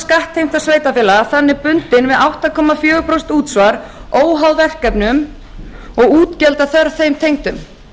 lágmarksskattheimta sveitarfélaga þannig bundin við átta komma fjögur prósent útsvar óháð verkefnum og útgjaldaþörf þeim tengdum